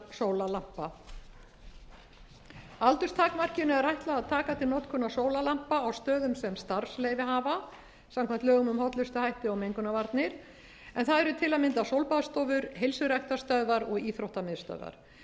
sólarlampa aldurstakmarkinu er ætlað að taka til notkunar sólarlampa á stöðum sem starfsleyfi hafa samkvæmt lögum um hollustuhætti og mengunarvarnir ef það eru til að mynda sólbaðsstofur heilsuræktarstöðvaruog íþróttamiðstöðvar samstarfshópur um útfjólubláa